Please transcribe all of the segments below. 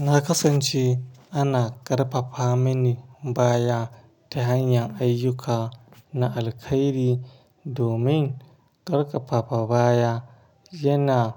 Na kasance ana ƙarfafa mini baya hanya ta hanyan ayyuka na alkairi, domin ƙarfafa baya yana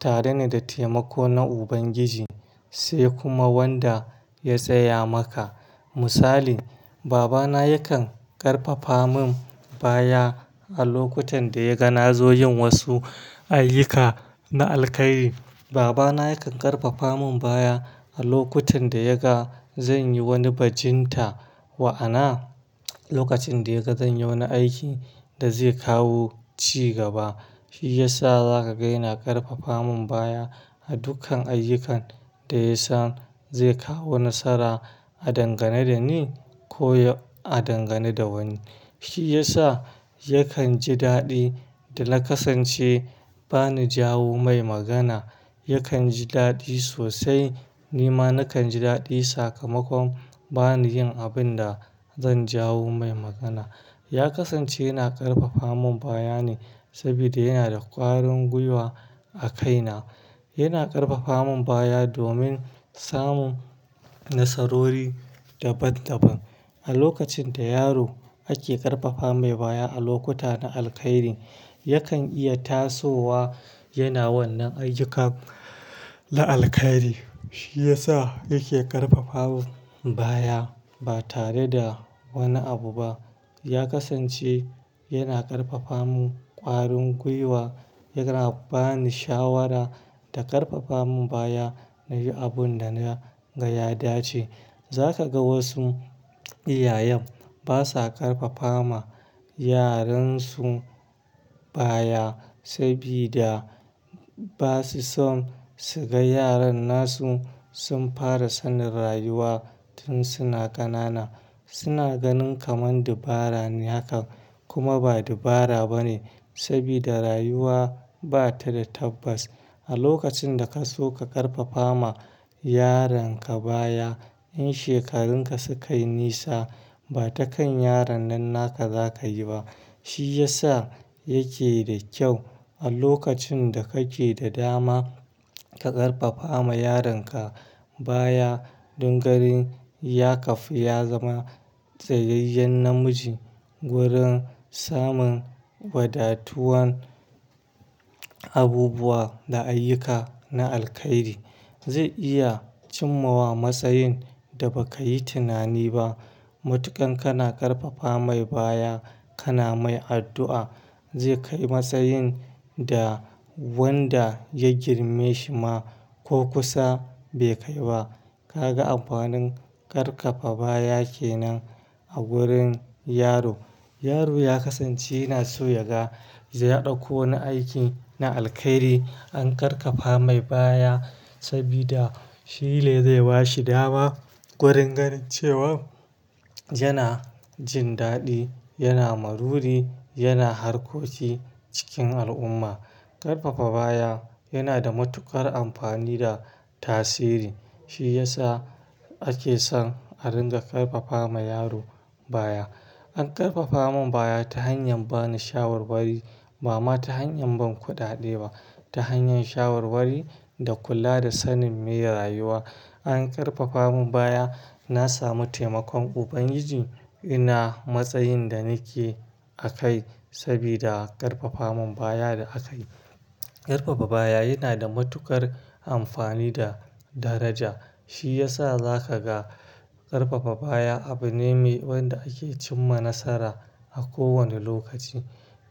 tare ne da taimako na Ubangiji sai kuma wanda ya tsaya maka. Misali, babana yakan ƙarfafa mun baya a lokutan da ya ga na zo yin wasu ayyuka na alkairi. Babana yakan ƙarfafa mun baya a lokutan da yaga zan yi wani bajinta ma'ana, lokacin da ya ga zan yi wani aikin da zai kawo cigaba. Shi ya sa za ka ga ina ƙarfafa mun baya a dukkan ayyukan da yasan zai kawo nasara a dangane da ni ko a dangane da wani. Shi yasa yakan ji daɗi da na kasance bani jawo mai magana. Yakan ji daɗi sosai, ni ma nakan ji daɗi sakamakon bani yin abin da zan jawo mai magana. Ya kasance yana ƙarfafa mun baya ne saboda yana da ƙwarin gwiwa a kaina. Yana ƙarfafa mun baya domin samun nasarori daban-daban. A lokacin da yaro ake ƙarfafa mai baya a lokuta na alkairi, yakan iya tasowa yana wannan ayyuka na alkairi. Shi ya sa yake ƙarfafa mun baya ba tare da wani abu ba. Ya kasance yana ƙarfafa mun ƙwarin gwiwa, yana bani shawara da ƙarfafa mun baya na yi abun da na ga ya dace. Za ka ga wasu iyayen basa ƙarfafa ma yaransu baya saboda basu so su ga yaran nasu sun fara sanin rayuwa tun suna ƙanana. Suna ganin kamar dabara ne hakan kuma ba dabara bane saboda rayuwa ba ta da tabbas. A lokacin da ka so ka ƙarfafa ma yaronka baya, in shekarun ka sukai nisa ba ta kan yaron nan naka za ka yi ba. Shi ya sa yake da kyau a lokacin da kake da dama ka ƙarfafa ma yaronka baya don ganin ya kafu ya zama tsayayyen namiji. Wurin samun wadatuwan abubuwa da ayyuka na alkairi, zai iya cimma wa matsayin da ba ka yi tunani ba. Matukan kana ƙarfafa mai baya, kana mai addu'a zai kai matsayin da wanda ya girme shi ma ko kusa be kai ba. Ka ga amfanin ƙarfafa baya kenan a gurin yaro. Yaro ya kasance yana so ya ga, ya ɗauko na aiki na alkairi an ƙarfafa mai baya saboda shi ne zai ba shi dawa wurin ganin cewa yana jin daɗi, yana maruri, yana harkoki cikin al'umma. Ƙarfafa baya yana da matuƙar amfani da tasiri. Shi ya sa ake son a ringa ƙarfafa ma yaro baya. An ƙarfafa mun baya ta hanyar bani shawarwari bama ta hanyar ban kuɗaɗe ba, ta hanyar shawarwari da kula da sanin me rayuwa. An ƙarfafa mun baya, na samu taimakon Ubangiji ina matsayin da nake a kai saboda ƙarfafa mun baya da akayi. Ƙarfafa baya yana da matuƙar amfani da daraja. Shi ya sa za ka ga ƙarfafa baya abu ne wanda ake cimma nasara a kowane lokaci.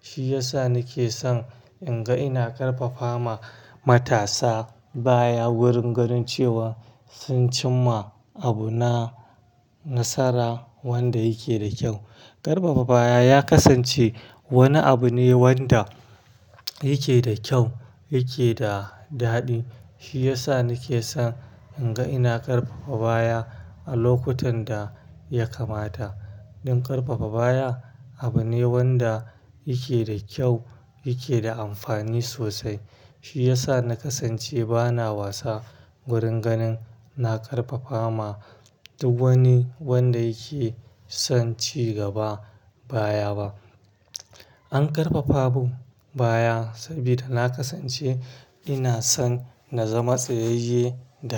Shi ya sa nake son in ga ina ƙarfafa ma matasa baya wurin ganin cewa sun cimma abu na nasara wanda yake da kyau. Ƙarfafa baya ya kasance wani abu ne wanda yake da kyau, yake da daɗi. Shi ya sa nake son in ga ina ƙarfafa baya a lokutan da ya kamata. Don ƙarfafa baya abu ne wanda yake da kyau, yake da amfani sosai. Shi ya sa na kasance bana wasa wurin ganin na ƙarfafa ma duk wani wanda yake son cigaba baya ba. An ƙarfafa mun baya saboda na kasance ina son na zama tsayayye da ƙarfi.